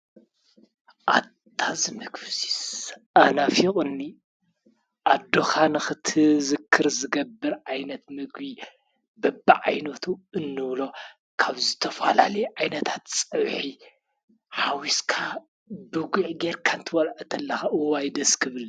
ኣታ ዝምግቢ እዙይስ ኣናፊቁኒ ኣዶካ ንክትዝክር ዝገብር ዓይነት ምግቢ በቢ ዓይነቱ እንብሎ ካብ ዝተፈላለዩ ዓይነታት ፀብሒ ሓዊስካ ብጉዕ ጌርካ ክትበልዖ ከለካ እዋይ ደስ ክብል !